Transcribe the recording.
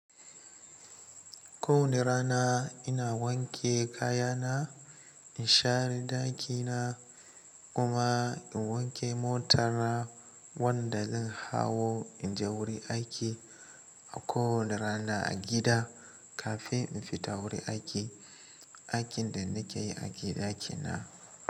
Ko wani rana ina wanke kaya na, in share daki na kuma in wanke motar wanda zan hau in je wurin aiki a kowane rana a gida, kafin in fita wurin aiki, aikin da nake yi a gida kenan.